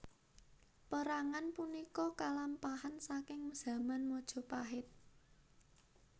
Pérangan punika kalampahan saking zaman Majapahit